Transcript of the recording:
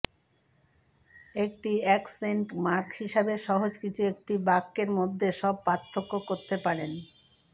একটি accent mark হিসাবে সহজ কিছু একটি বাক্যের মধ্যে সব পার্থক্য করতে পারেন